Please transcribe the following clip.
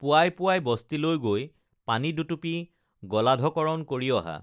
পুৱাই পুৱাই বস্তিলৈ গৈ পানী দুটুপি গলধঃকৰণ কৰি অহা